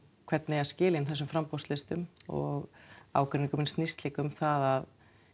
hvernig eigi að skila inn þessum framboðslistum og ágreiningurinn snýst líka um það að